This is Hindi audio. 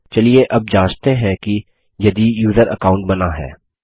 चलिए अब जाँचते हैं कि यदि यूज़र अकाउंट बना है